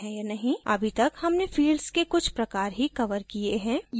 अभी तक हमने fields के कुछ प्रकार ही कवर किये हैं